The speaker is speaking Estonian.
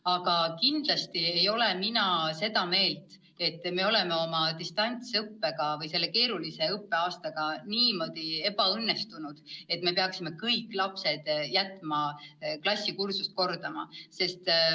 Aga kindlasti ei ole mina seda meelt, et meil on distantsõpe või see keeruline õppeaasta niimoodi ebaõnnestunud, et me peaksime kõik lapsed jätma klassikursust kordama.